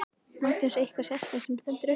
Magnús: Eitthvað sérstakt sem stendur upp úr?